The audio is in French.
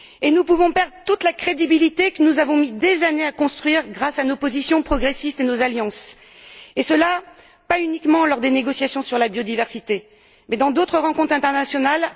Nous pouvons perdre toute la crédibilité que nous avons mis des années à construire, grâce à nos positions progressistes et nos alliances, et pas uniquement lors des négociations sur la biodiversité mais aussi, par ricochet, dans d'autres rencontres internationales.